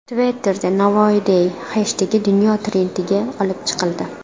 Twitter’da #NavoiyDay heshtegi dunyo trendiga olib chiqildi.